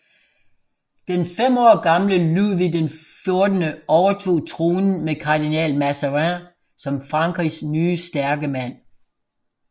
Den fem år gamle Ludvig XIV overtog tronen med kardinal Mazarin som Frankrigs nye stærke mand